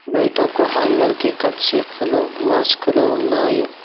బయట ఒక హ్యాంగర్ కి కర్చిఫ్ లు మాస్కులు ఉన్నాయి.